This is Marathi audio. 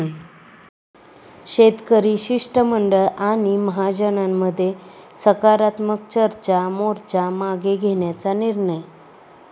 शेतकरी शिष्टमंडळ आणि महाजनांमध्ये सकारात्मक चर्चा, मोर्चा मागे घेण्याचा निर्णय